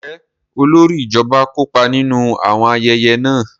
Njẹ olórí ijọba kópa ninu awọn ayẹyẹ náà?